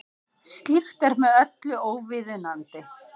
Slíkt er með öllu óviðunandi